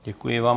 Děkuji vám.